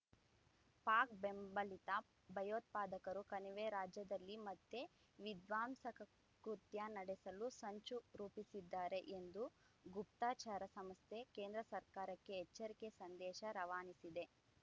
ಪಾಕ್ ಬೆಂಬಲಿತ ಭಯೋತ್ಪಾದಕರು ಕಣಿವೆ ರಾಜ್ಯದಲ್ಲಿ ಮತ್ತೆ ವಿಧ್ವಂಸಕ ಕೃತ್ಯ ನಡೆಸಲು ಸಂಚು ರೂಪಿಸಿದ್ದಾರೆ ಎಂದು ಗುಪ್ತಚರ ಸಂಸ್ಥೆ ಕೇಂದ್ರ ಸರ್ಕಾರಕ್ಕೆ ಎಚ್ಚರಿಕೆ ಸಂದೇಶ ರವಾನಿಸಿದೆ